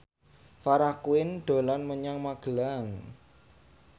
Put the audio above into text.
Farah Quinn dolan menyang Magelang